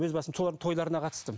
өз басым солардың тойларына қатыстым